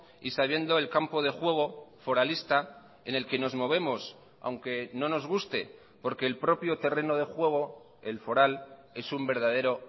y sabiendo el campo de juego foralista en el que nos movemos aunque no nos guste porque el propio terreno de juego el foral es un verdadero